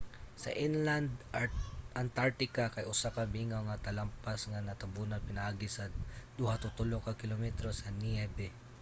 sa inland antartica kay usa ka mingaw nga talampas nga natabunan pinaagi sa 2-3 ka kilometro sa niyebe